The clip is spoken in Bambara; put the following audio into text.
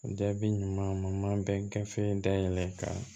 Jaabi ɲuman bɛ gafe dayɛlɛ ka